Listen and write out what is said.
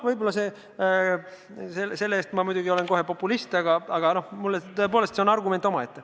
Võib-olla ma selle arvamuse pärast olen kohe populist, aga tõepoolest, see on argument omaette.